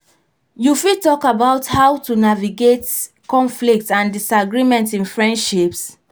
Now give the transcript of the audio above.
you fit talk about how to navigate conflicts and disagreements in friendships.